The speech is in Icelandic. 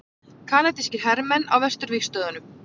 Kanadískir hermenn á vesturvígstöðvunum.